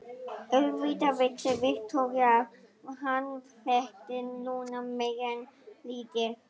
Auðvitað vissi Viktoría að hann þekkti Lúnu meira en lítið.